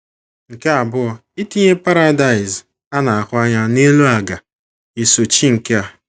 Nke abụọ, itinye paradaịs a na - ahụ anya n’elu ala ga - esochi nke a.